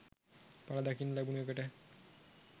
පල දකින්න ලැබුණ එකට.